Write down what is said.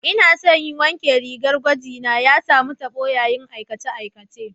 Ina so in wanke rigar gwaji na, ya samu tabo yayin aikace-aikacen.